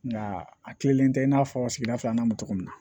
Nka a tilenlen tɛ i n'a fɔ sigida filanan bɛ cogo min na